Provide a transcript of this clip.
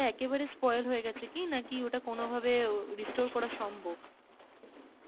ওটা একেবারে spoil হয়ে গেছে কি নাকি ওটা কোন ভাবে উম restore করা সম্ভব?